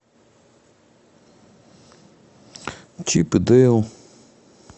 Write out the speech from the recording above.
чип и дейл